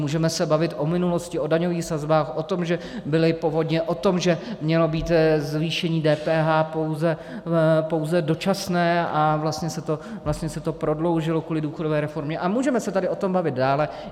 Můžeme se bavit o minulosti, o daňových sazbách, o tom, že byly povodně, o tom, že mělo být zvýšení DPH pouze dočasné a vlastně se to prodloužilo kvůli důchodové reformě, a můžeme se tady o tom bavit dále.